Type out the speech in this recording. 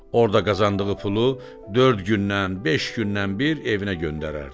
Orda qazandığı pulu dörd gündən, beş gündən bir evinə göndərərdi.